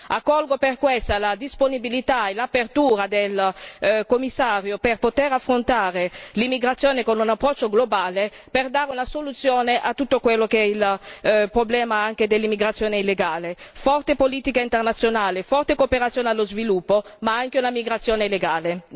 Accolgo per questo la disponibilità e l'apertura del Commissario per poter affrontare l'immigrazione con un approccio globale per dare una soluzione a tutto quello che è il problema anche dell'immigrazione illegale, forte politica internazionale, forte cooperazione allo sviluppo ma anche una migrazione legale.